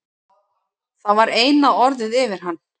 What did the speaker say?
Það var eina orðið yfir hann.